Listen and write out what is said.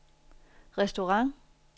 restaurant